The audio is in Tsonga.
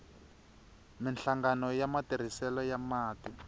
minhlangano ya matirhiselo ya mati